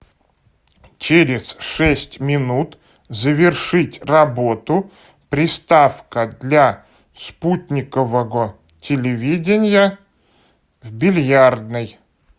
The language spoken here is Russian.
через шесть минут завершить работу приставка для спутникового телевидения в бильярдной